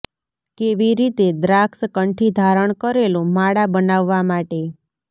કેવી રીતે દ્રાક્ષ કંઠી ધારણ કરેલું માળા બનાવવા માટે